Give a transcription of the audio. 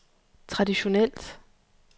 traditionelt